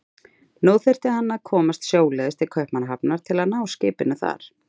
Nú þyrfti hann að komast sjóleiðis til Kaupmannahafnar til að ná skipinu þar.